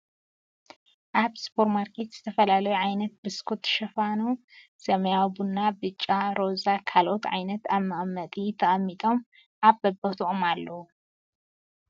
ኣብ ሱፐር ማርኬት ዝተፈላለዩ ዓይነት ብስኩት ሽፋኑ ሰማያዊ ፣ቡና፣ ቢጫ፣ ሮዛ፣ ካልኦት ዓይነትን ኣብ መቀመጢ ተቀሚጦም ኣብ በቦቶኦም ኣለዉ ።